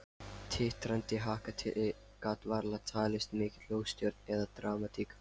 Titrandi haka gat varla talist mikil óstjórn eða dramatík.